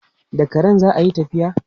Da karen za a yi tafiya.